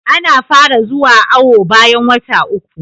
Ana fara zuwa awo bayan wata uku